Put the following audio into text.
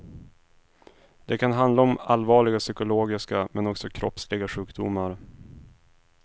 Det kan handla om allvarliga psykologiska men också kroppsliga sjukdomar.